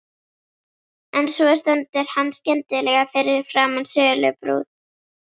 En svo stendur hann skyndilega fyrir framan sölubúð